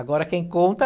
Agora, quem conta?